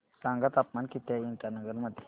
सांगा तापमान किती आहे इटानगर मध्ये